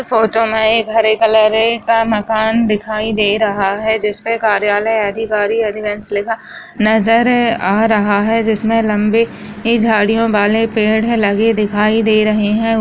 Photo में एक हरे कलर का मकान दिखाई दे रहा है जिसपे कार्यालय अधिकारी अधिमेंस लिखा नजर आ रहा है जिसमे लम्बी झाड़ियों वाले पेड़ है लगे दिखाई दे रहे है।